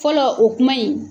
Fɔlɔ o kuma in